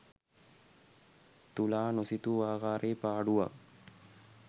තුලා නොසිතූ ආකාරයේ පාඩුවක්